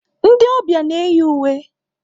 Ndị ọbịa na-eyi uwe.